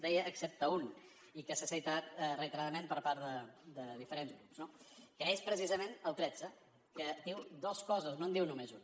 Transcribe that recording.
deia excepte un i que s’ha citat reiteradament per part de diferents grups no que és precisament el tretze que diu dos coses no en diu només una